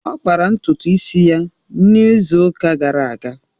Ọ kpara ntutu isi ya n'izu ụka gara aga